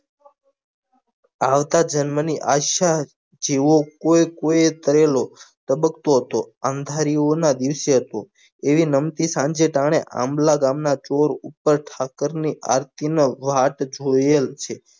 આવતા જન્મની આશા જેવો જેવો કોઈ થયેલો ધબક્ત્તો હતો અંધારિયા નાં દિવસે હતો એવી નમતી સાંજે ટાણે આંબલા ગામ ની થોર ઉપર ઠાકર ની આરતી નાં વાત જોયેલ છે.